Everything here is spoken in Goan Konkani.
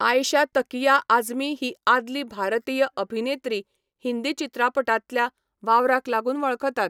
आयशा तकिया आझमी ही आदली भारतीय अभिनेत्री हिंदी चित्रपटांतल्या वावराक लागून वळखतात.